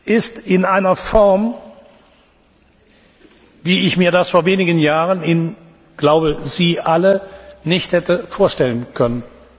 ist, in einer Form, wie ich und ich glaube, Sie alle mir das vor wenigen Jahren nicht hätte vorstellen können.